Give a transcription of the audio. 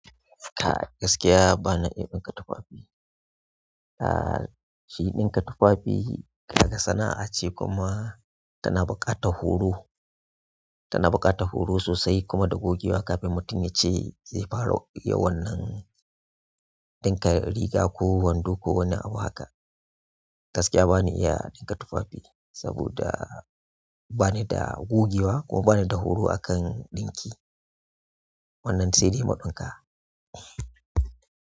Kai gaskiya ba na iya ɗinka tufafi. Aa, shi ɗinka tufafi kaga sana'a ce kuma tana buƙatar horo, tana buƙatar horo sosai kuma da gogewa kafin mutum ya ce zai fara yawan nan ɗinka riga ko wando ko wani abu haka. Gaskiya ba ni iya ɗinka tufafi saboda ba ni da gogewa kuma ba ni da horo a kan ɗinki. Wannan sai dai mu ɗinka.